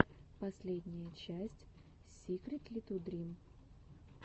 последняя часть сикритлитудрим